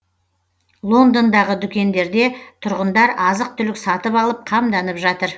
лондондағы дүкендерде тұрғындар азық түлік сатып алып қамданып жатыр